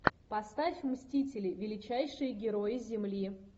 поставь мстители величайшие герои земли